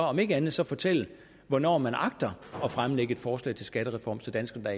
om ikke andet så fortælle hvornår man agter at fremsætte et forslag til en skattereform så danskerne da